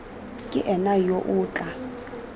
ke ena yo o tla